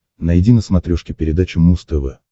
найди на смотрешке передачу муз тв